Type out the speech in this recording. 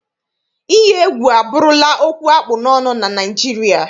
Iyi egwu abụrụla okwu akpụ n'ọnụ na Naịjirịa.